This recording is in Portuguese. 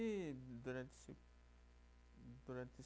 E durante esse durante